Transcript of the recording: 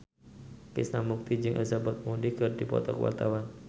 Krishna Mukti jeung Elizabeth Moody keur dipoto ku wartawan